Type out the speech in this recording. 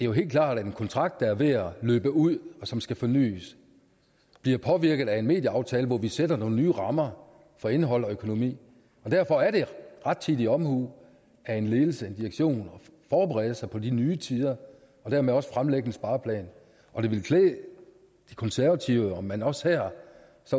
jo helt klart at en kontrakt der er ved at løbe ud og som skal fornys bliver påvirket af en medieaftale hvor vi sætter nogle nye rammer for indhold og økonomi derfor er det rettidig omhu af en ledelse og direktion at forberede sig på de nye tider og dermed også fremlægge en spareplan og det ville klæde de konservative om man også her